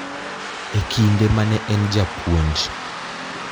E kinde ma ne en japuonj.